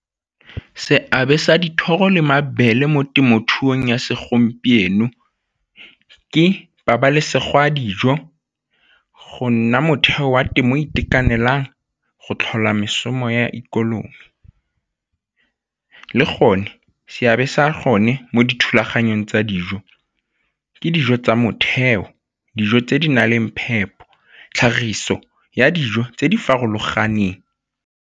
Seabe sa dithoro le mabele mo temothuong ya segompieno ke pabalesego ya dijo, go nna motheo wa temo itekanelang go tlhola ya ikonomi le gone seabe sa gone mo dithulaganyong tsa dijo ke dijo tsa motheo, dijo tse di na leng phepo, tlhagiso ya dijo tse di farologaneng.